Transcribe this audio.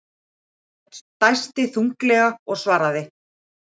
Hann dæsti þunglega og svaraði.